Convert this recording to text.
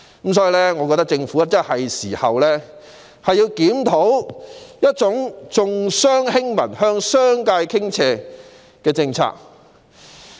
我認為，政府是時候檢討這種重商輕民，向商界傾斜的政策。